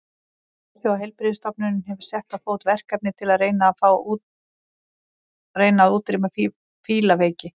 Alþjóðaheilbrigðisstofnunin hefur sett á fót verkefni til að reyna að útrýma fílaveiki.